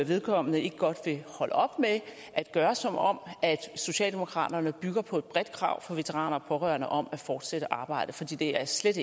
vedkommende ikke godt vil holde op med at gøre som om socialdemokraterne bygger på et bredt krav fra veteraner og pårørende om at fortsætte arbejdet for det det er slet